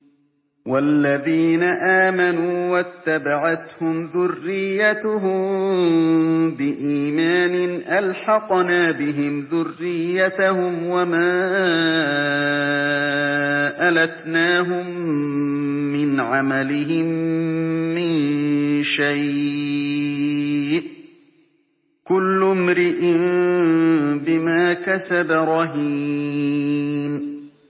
وَالَّذِينَ آمَنُوا وَاتَّبَعَتْهُمْ ذُرِّيَّتُهُم بِإِيمَانٍ أَلْحَقْنَا بِهِمْ ذُرِّيَّتَهُمْ وَمَا أَلَتْنَاهُم مِّنْ عَمَلِهِم مِّن شَيْءٍ ۚ كُلُّ امْرِئٍ بِمَا كَسَبَ رَهِينٌ